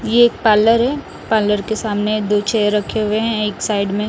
ये एक पार्लर है पार्लर के सामने दो चेयर रखे हुए है एक साइड में--